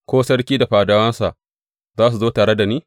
Ko sarki da fadawansa za su zo tare da ni?